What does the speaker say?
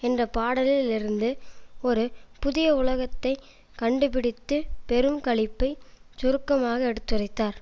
என்ற பாடலில் இருந்து ஒரு புதிய உலகத்தை கண்டுபிடித்து பெரும் களிப்பைச் சுருக்கமாக எடுத்துரைத்தார்